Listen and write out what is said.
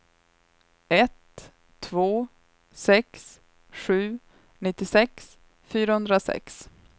ett två sex sju nittiosex fyrahundrasex